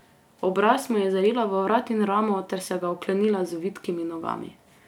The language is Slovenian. Obraz mu je zarila v vrat in ramo ter se ga oklenila z vitkimi nogami.